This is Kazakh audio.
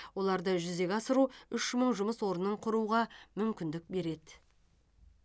оларды жүзеге асыру үш мың жұмыс орнын құруға мүмкіндік береді